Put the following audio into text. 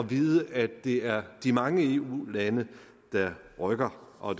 vide at det er de mange eu lande der rykker og